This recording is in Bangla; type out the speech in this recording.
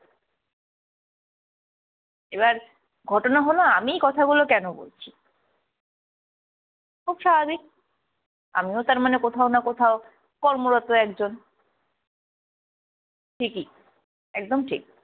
এবার ঘটনা হলো আমি কথা গুলো কেন বলছি? খুব স্বাভাবিক, আমিও তার মানে কোথাও না কোথাও কর্মরত একজন। ঠিকই, একদম ঠিক।